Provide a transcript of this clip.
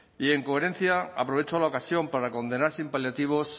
y en coherencia aprovecho la ocasión para condenar sin paliativos